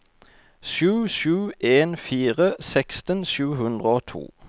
sju sju en fire seksten sju hundre og to